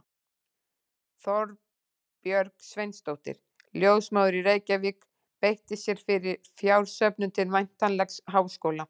Þorbjörg Sveinsdóttir, ljósmóðir í Reykjavík, beitti sér fyrir fjársöfnun til væntanlegs háskóla.